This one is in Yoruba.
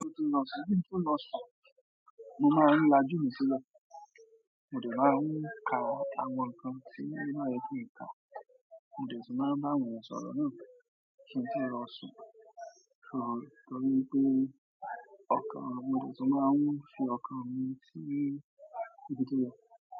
Kin tó lọ̀ṣun, kí n tó lọ̀ṣun, mo máa ń lajú mi sílẹ̀. Mo dè máa ń ka àwọn nǹkan tí o máa ye kin ka, mo dè tún máa bá àwọn èyan ṣòrò náà sọ̀rọ̀ náà kí n tó lọ̀ṣun. So torí pé ọkàn, mo dè tún máa ń fi ọkàn mi sí ibi tí mo lọ.